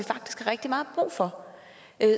rigtig meget brug for